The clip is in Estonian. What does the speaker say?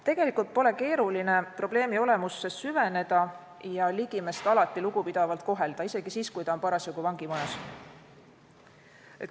Tegelikult pole keeruline probleemi olemusse süveneda ja ligimest alati lugupidavalt kohelda, isegi siis, kui ta on parasjagu vangimajas.